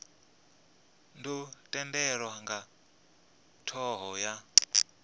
dzo tendelwa nga thoho ya